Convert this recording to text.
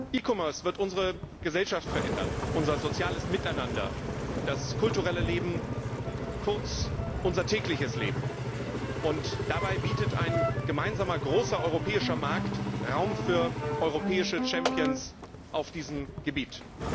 E commerce wird unsere Gesellschaft verändern, unser soziales Miteinander, das kulturelle Leben, kurz unser tägliches Leben. Dabei bietet ein gemeinsamer großer europäischer Markt Raum für europäische Champions auf diesem Gebiet.